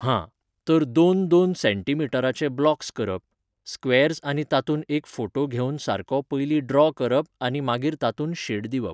हां, तर दोन दोन सॅंटिमिटराचे ब्लॉक्स करप, स्क्वेर्ज आनी तातूंत एक फोटो घेवन सारको पयलीं ड्रॉ करप आनी मागीर तातूंत शेड दिवप.